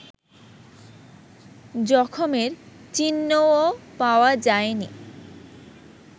জখমের চিহ্নও পাওয়া যায়নি